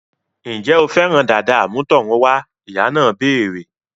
Ǹjẹ́ o fẹ́ràn dàda àmútọ̀runwá? Ìyá náà béèrè